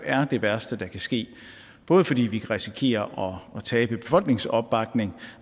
det værste der kan ske både fordi vi kan risikere at tabe befolkningsopbakning